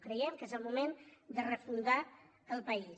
creiem que és el moment de refundar el país